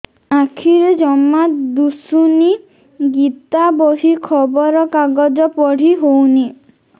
ଆଖିରେ ଜମା ଦୁଶୁନି ଗୀତା ବହି ଖବର କାଗଜ ପଢି ହଉନି